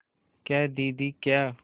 क्या दीदी क्या